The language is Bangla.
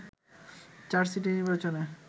চার সিটি নির্বাচনে